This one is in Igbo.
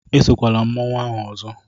Esokwala mmanwu ahụ ọzọ!